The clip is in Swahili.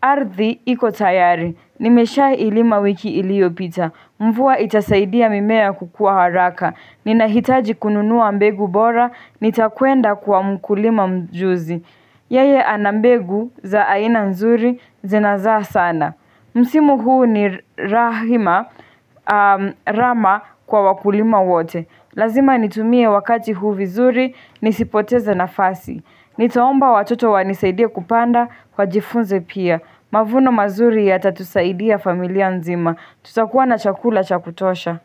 Arthi iko tayari. Nimesha ilima wiki iliyo pita. Mvua itasaidia mimea kukua haraka. Ninahitaji kununua mbegu bora. Nitakuenda kwa mkulima mjuzi. Yeye ana mbegu za aina mzuri zinazaa sana. Msimu huu ni rahima rama kwa wakulima wote. Lazima nitumie wakati huu vizuri, nisipoteze nafasi. Niaomba watoto wanisaidie kupanda wajifunze pia. Mavuno mazuri yatatusaidia familia nzima. Tutakuwa na chakula cha kutosha.